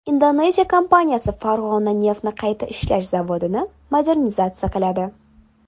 Indoneziya kompaniyasi Farg‘ona neftni qayta ishlash zavodini modernizatsiya qiladi.